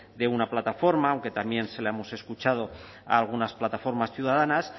de una plataforma aunque también se la hemos escuchado a algunas plataformas ciudadanas